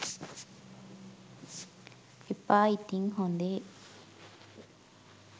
එපා ඉතිං හොඳේ